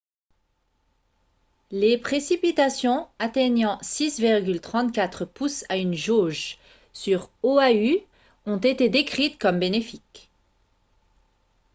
les précipitations atteignant 6,34 pouces à une jauge sur oahu ont été décrites comme « bénéfiques »